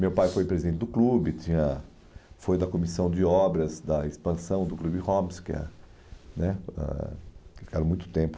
Meu pai foi presidente do clube, tinha, foi da comissão de obras da expansão do clube Homes, que é né ãh ficaram muito tempo.